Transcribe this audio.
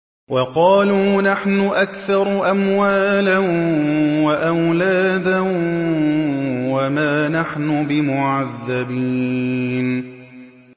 وَقَالُوا نَحْنُ أَكْثَرُ أَمْوَالًا وَأَوْلَادًا وَمَا نَحْنُ بِمُعَذَّبِينَ